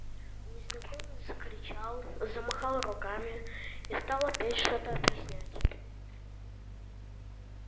незнакомец закричал замахал руками и стал опять что-то объяснять